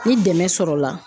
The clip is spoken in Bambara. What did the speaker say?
Ni dɛmɛ sɔrɔla